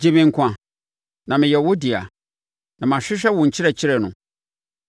Gye me nkwa, na meyɛ wo dea; na mahwehwɛ wo nkyerɛkyerɛ no.